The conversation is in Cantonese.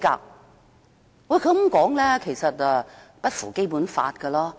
然而，他這樣說並不符合《基本法》。